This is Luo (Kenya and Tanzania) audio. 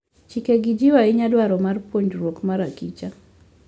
Chikegi jiwo ahinya dwaro mar puonjruok mar akicha.